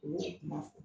U y'o kuma fɔ